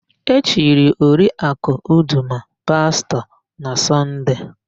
E chiri Oriakụ Udoma pastọ na Sọnde.